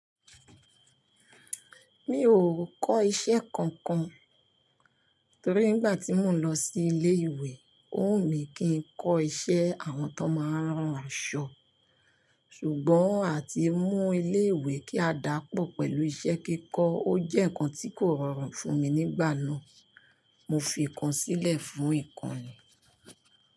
Mi ò kọ́ iṣẹ́ kankan torí nígbà tí mò ń lọ sí ilé ìwé ó wù mí kí n kọ́ iṣẹ́ àwọn tó máa ń rán aṣọ. Ṣùgbọ́n àti mú ilé ìwé kí a dàpọ̀ pẹ̀lú iṣẹ́ kíkọ ó jẹ́ nǹkan tí kò rọrùn fún mi nígbà náà. Mo fi ìkan sílẹ̀ fún ìkan ni.